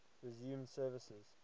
resumed service